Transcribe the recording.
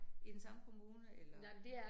I den samme kommune eller